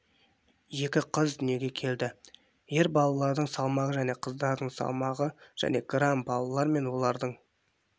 екі қыз дүниеге келді ер балалардың салмағы және қыздардың салмағы және грамм балалар мен олардың